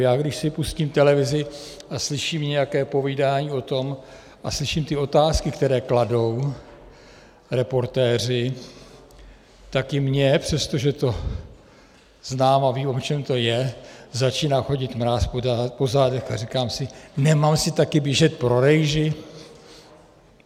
Já když si pustím televizi a slyším nějaké povídání o tom a slyším ty otázky, které kladou reportéři, tak i mně, přestože to znám a vím, o čem to je, začíná chodit mráz po zádech a říkám si: nemám si také běžet pro rejži?